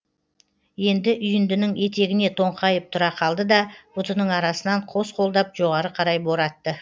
енді үйіндінің етегіне тоңқайып тұра қалды да бұтының арасынан қос қолдап жоғары қарай боратты